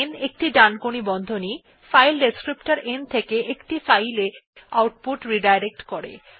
n একটি ডানকোণী বন্ধনী ফাইল ডেসক্রিপ্টর n থেকে একটি ফাইল এ আউটপুট রিডাইরেক্ট করে